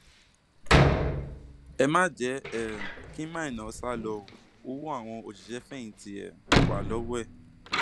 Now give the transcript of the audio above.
ẹ má jẹ um kí maina sá lò ó ọwọ àwọn òṣìṣẹfẹyìntì um wa lọwọ ẹ